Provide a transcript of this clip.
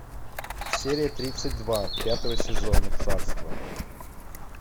серия тридцать два пятого сезона царство